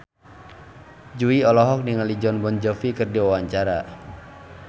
Jui olohok ningali Jon Bon Jovi keur diwawancara